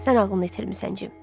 Sən ağlını itirmisən Cim.